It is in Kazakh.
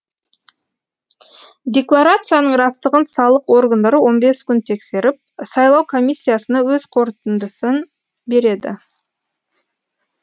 декларацияның растығын салық органдары он бес күн тексеріп сайлау комиссиясына өз қортындысын береді